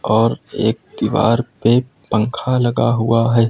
और एक दीवार पे पंखा लगा हुआ है।